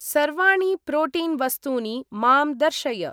सर्वाणि प्रोटीन् वस्तूनि मां दर्शय।